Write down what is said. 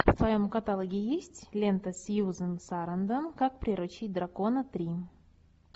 в твоем каталоге есть лента сьюзен сарандон как приручить дракона три